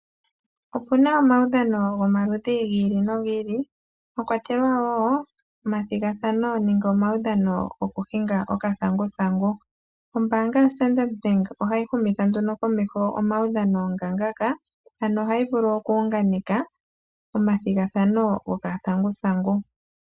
Opuna omaudhano gomaludhi gi ili nogi ili mwa kwatelwa woo omathigathano nenge omaudhano gokuhinga okathanguthangu. Ombaanga yoStandard Bank ohayi humitha nduno komeho omaudhano ngaashi ngaka ano ohayi vulu okuunganeka omathigathano gokathanguthangu.